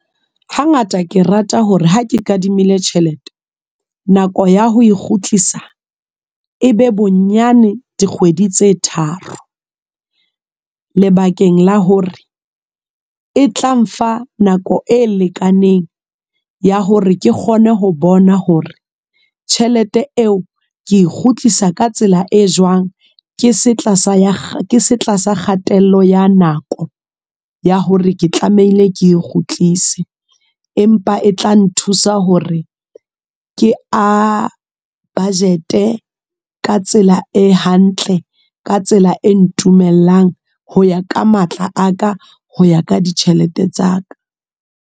Hangata ke rata hore ha ke kadimile tjhelete. Nako ya ho e kgutlisa, e be bonyane dikgwedi tse tharo. Lebakeng la hore, e tla nfa nako e lekaneng ya hore ke kgone ho bona hore tjhelete eo ke kgutlisa ka tsela e jwang. Ke se tlasa kgatello ya nako, ya hore ke tlamehile ke kgutlise. Empa e tla nthusa hore ke a budget-e. Ka tsela e hantle, ka tsela e ntumellang, ho ya ka matla a ka, ho ya ka ditjhelete tsa ka.